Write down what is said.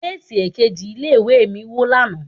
Géètì èkejì ilé ìwé mi wó lánàá.